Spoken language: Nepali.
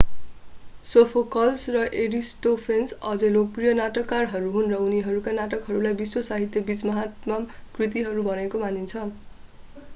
सोफोकल्स र एरिस्टोफेन्स अझै लोकप्रिय नाटककारहरू हुन् र उनीहरूका नाटकहरूलाई विश्व साहित्यबीच महानतम कृतिहरू भएको मानिन्छ